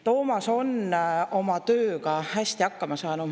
Toomas on oma tööga hästi hakkama saanud.